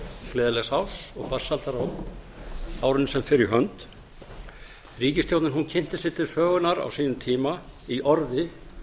gleðilegs árs og farsældar á árinu sem fer í hönd ríkisstjórnin kynnti sig til sögunnar á sínum tíma í orði